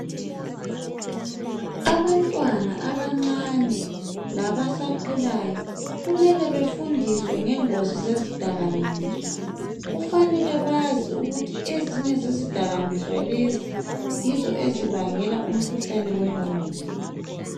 Abantwana abancane labasakhulayo kumele befundiswe ngengozi zezidakamizwa kufanele bazi ukuthi ezinye zezidakamizwa lezi yizo ezibangela umkhuhlane wengqondo.